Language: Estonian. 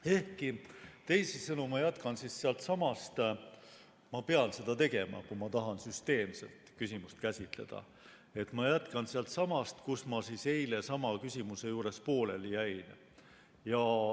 Ehkki, teisisõnu, ma jätkan siis sealtsamast – ma pean seda tegema, kui ma tahan küsimust süsteemselt käsitleda –, kus ma eile sama küsimuse juures pooleli jäin.